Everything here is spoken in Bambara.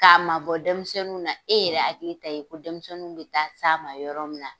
K'a mabɔ dɛmisɛnninw na, e yɛrɛ hakili t'a ye ko dɛmisɛnninw bɛ taa s'a ma yɔrɔ min na.